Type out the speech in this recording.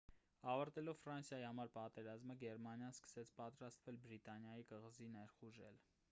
ավարտելով ֆրանսիայի համար պատերազմը գերմանիան սկսեց պատրաստվել բրիտանիայի կղզի ներխուժել